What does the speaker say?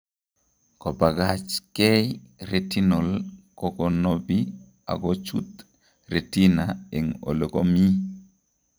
Kobagachkei retinal kokonobi akochut retina eng elekomii